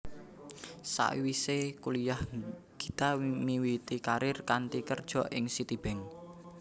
Sawisé kuliyah Gita miwiti karir kanthi kerja ing Citibank